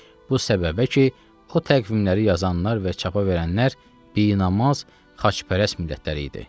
Bu səbəbə ki, o təqvimləri yazanlar və çapa verənlər binamaz, xaçpərəst millətləri idi.